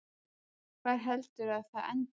Hvar heldurðu að það endi?